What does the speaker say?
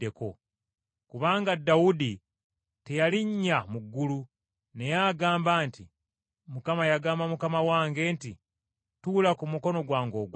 Kubanga Dawudi teyalinnya mu ggulu, naye agamba nti, “ ‘Mukama yagamba Mukama wange nti, “Tuula ku mukono gwange ogwa ddyo,